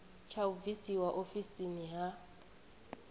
tsha u bvisiwa ofisini ha